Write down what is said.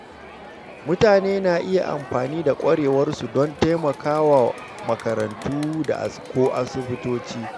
Mutane na iya amfani da ƙwarewarsu don taimakawa a makarantu ko asibitoci.